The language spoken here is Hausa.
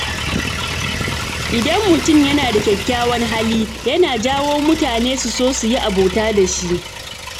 Idan mutum yana da kyakkyawan hali, yana jawo mutane su so su yi abota da shi.